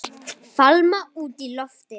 Fálma út í loftið.